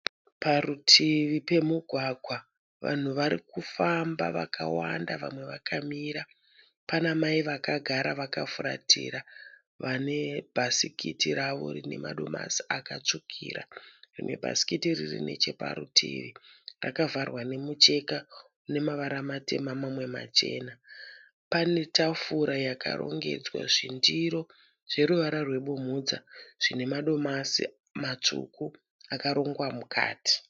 Parutivi pemugwagwa. Vanhu varikufamba vakawanda vamwe vakamira. Pana mai vakagara vakafuratira vane bhasikiti ravo rine madomasi akatsvukira. Rimwe bhasikiti riri neche parutivi rakavharwa nemucheka une mavara matema mamwe machena. Pane tafura yakarongedzwa zvindiro zveruvara rwe bumhudza zvine madomasi matsvuku akarongwa mukati.